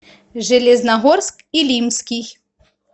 железногорск илимский